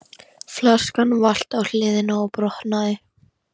Flaskan valt á hliðina og brotnaði.